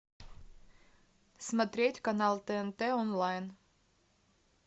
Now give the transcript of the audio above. смотреть канал тнт онлайн